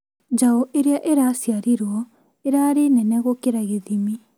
Njaũ ĩrĩa ĩraciarirwo ĩrarĩ nene gũkĩria gĩthimi